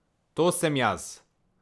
To sem jaz!